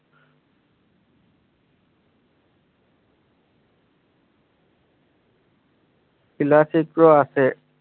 আছে